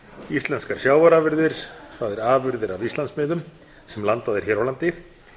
íslenskar sjávarafurðir það er afurðir af íslandsmiðum sem landað er hér á landi